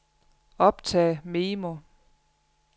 optag memo